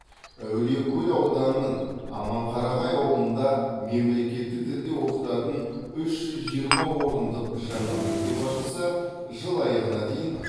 әулиекөл ауданының аманқарағай ауылында мемлекеттік тілде оқытатын үш жүз жиырма орындық жаңа мектеп ашылса жыл аяғына дейін